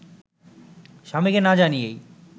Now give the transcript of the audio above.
স্বামীকে না জানিয়েই